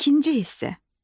İkinci hissə.